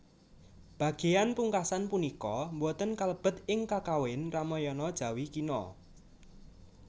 Bagéyan pungkasan punika boten kalebet ing Kakawin Ramayana Jawi Kina